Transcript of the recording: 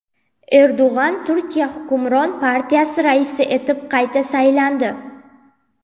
Erdo‘g‘on Turkiya hukmron partiyasi raisi etib qayta saylandi.